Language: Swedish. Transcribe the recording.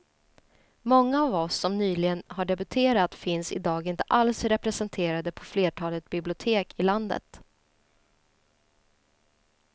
Många av oss som nyligen har debuterat finns i dag inte alls representerade på flertalet bibliotek i landet.